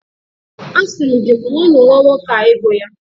Asị m gị, kwụọnụ nwa nwoke a ego ya!